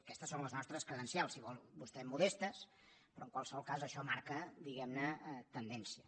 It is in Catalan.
aquestes són les nostres credencials si vol vostè modestes però en qualsevol cas això marca diguem ne tendència